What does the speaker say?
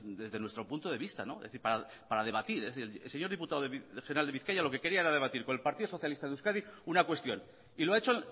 desde nuestro punto de vista es decir para debatir el señor diputado regional de bizkaia lo que quería era debatir con el partido socialista de euskadi una cuestión y lo ha hecho